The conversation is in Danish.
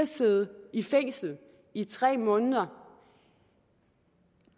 sidde i fængsel i tre måneder